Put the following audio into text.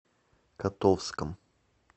котовском